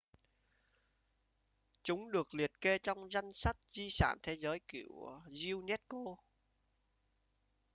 chúng được liệt kê trong danh sách di sản thế giới của unesco